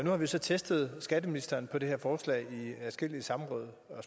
har vi så testet skatteministeren på det her forslag i adskillige samråd og